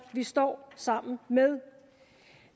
vi står sammen med